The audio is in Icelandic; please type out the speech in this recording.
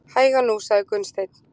Hægan nú, sagði Gunnsteinn.